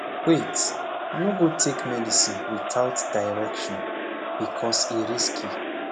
wait no go take medicine without direction becoz e risky